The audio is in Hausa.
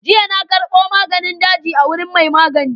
Jiya na karɓo maganin daji a wajen mai maganin.